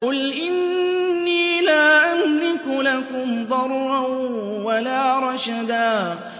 قُلْ إِنِّي لَا أَمْلِكُ لَكُمْ ضَرًّا وَلَا رَشَدًا